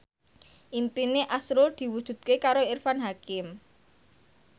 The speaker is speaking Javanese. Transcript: impine azrul diwujudke karo Irfan Hakim